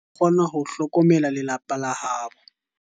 Nyawo o kgona ho hlokomela lelapa la habo.